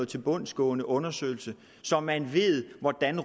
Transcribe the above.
tilbundsgående undersøgelse så man ved hvordan